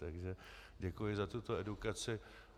Takže děkuji za tuto edukaci.